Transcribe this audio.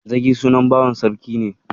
Zagi sunan bawan Sarki ne.